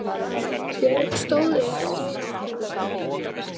Björg stóð upp og fór aftur út að glugganum.